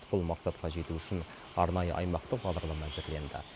бұл мақсатқа жету үшін арнайы аймақтық бағдарлама әзірленді